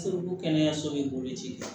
ko kɛnɛyaso bɛ bolo ci